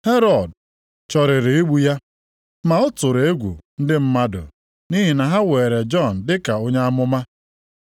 Herọd chọrọrị igbu ya, ma ọ tụrụ egwu ndị mmadụ, nʼihi na ha weere Jọn dị ka onye amụma.